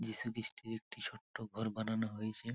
যীশু খ্রীষ্টের একটি ছোট্ট ঘর বানানো হয়েছে।